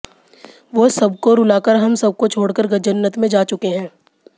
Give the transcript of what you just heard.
वो सबको रुलाकर हम सबको छोड़कर जन्नत में जा चुके हैं